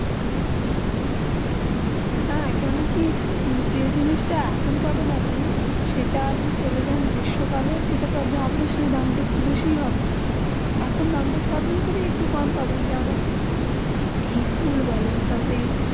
হেঁ কেনু কি যে জিনিস তা এখন পাবেন আপনি সেটা আপনি চলে যান গ্রীষ্মকালে সেটা দাম দাম একটু বেশি হবে এখন দাম তা সব জিনিসের একটু কম পাবে যেই ফোলা বলেন তার পরে